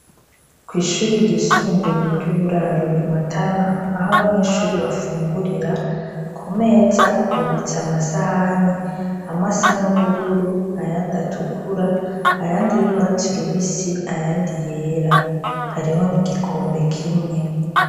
Kw' ishuri ryisumbuye ry'uburaro, i Matana aho abanyeshuri bafungurira, ku meza hubitse amasahani, amwe asa n'ubururu ayandi atukura, ayandi y'urwatsi rubisi, ayandi yera, Hariho n'igikombe kimwe.